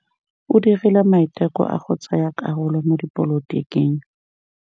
O dirile maitekô a go tsaya karolo mo dipolotiking.